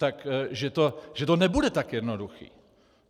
Takže to nebude to tak jednoduché.